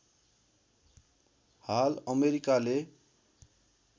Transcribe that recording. हाल अमेरिकाले